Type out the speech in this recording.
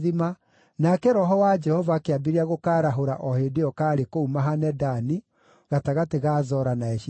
nake Roho wa Jehova akĩambĩrĩria gũkaarahũra o hĩndĩ ĩyo kaarĩ kũu Mahane-Dani, gatagatĩ ga Zora na Eshitaoli.